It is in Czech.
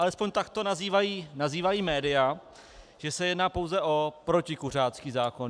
Alespoň tak to nazývají média, že se jedná pouze o protikuřácký zákon.